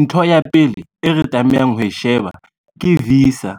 Ntho ya pele e re tlamehang ho e sheba ke visa.